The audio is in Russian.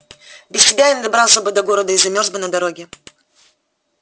без тебя я не добрался бы до города и замёрз бы на дороге